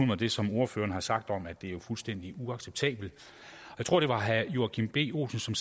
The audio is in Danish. mig det som ordførerne har sagt om at det jo er fuldstændig uacceptabelt jeg tror det var herre joachim b olsen som